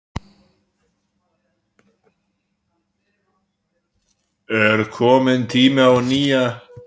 Er kominn tími á nýja landsliðsþjálfara?